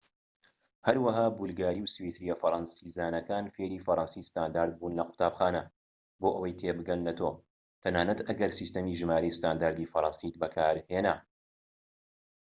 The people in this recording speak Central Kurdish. هەروەها بولگاری و سویسریە فەرەنسیزانەکان فێری فەرەنسی ستاندارد بوون لە قوتابخانە بۆ ئەوەی تێبگەن لە تۆ تەنانەت ئەگەر سیستەمی ژمارەی ستانداردی فەرەنسیت بەکارهێنا